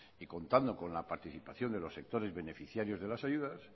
y contando con la participación de los sectores beneficiarios de las ayudas